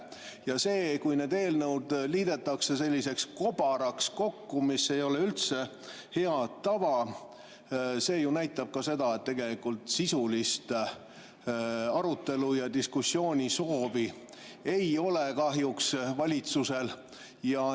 Ja see, et need eelnõud liidetakse kobaraks kokku, mis ei ole üldse hea tava, näitab ka seda, et tegelikult sisulist arutelu- ja diskussioonisoovi valitsusel kahjuks ei ole.